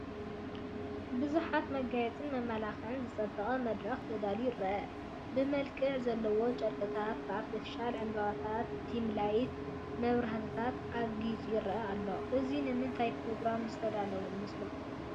ብቡዙሓት መጋየፅን መመላኽዕን ዝፀበቐ መድረኽ ተዳልዩ ይረአ፡፡ ብመልክዕ ዘለዎም ጨርቅታት፣ ብኣርቴፊሻል ዕንበባታትን ዲምላይት መብራሕቲታትን ኣግይፁ ይረአ ኣሎ፡፡ እዚ ንምንታይ ኘሮግራም ዝተዳለወ ይመስለኩም?